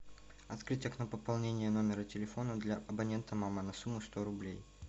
открыть окно пополнения номера телефона для абонента мама на сумму сто рублей